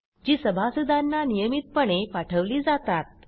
जी सभासदांना नियमितपणे पाठवली जातात